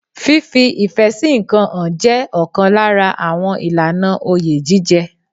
Fífi ìfẹ́ sí ǹkan hàn jẹ́ ọ̀kan lára àwọn ìlànà oyè jíjẹ.